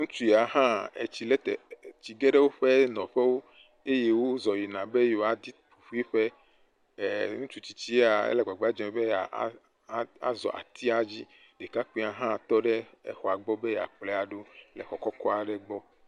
Ŋutsu ya hã etsi le te eee tsi ge ɖe woƒe nɔƒewo eye wozɔ̃ yina be yewoadi ƒiƒiƒe, le ŋutsutsitsi ya